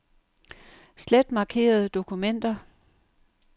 Slet markerede dokumenter.